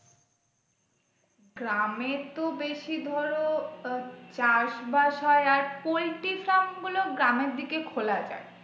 গ্রামে তো বেশি ধরো আহ চাষ বাস হয় আর poultry farm গুলো গ্রামের দিকে খোলা যাই।